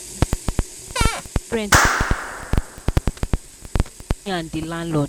the ten ant no pay rent on time and e cause wahala between am and the landlord.